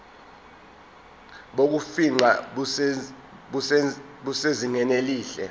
bokufingqa busezingeni elihle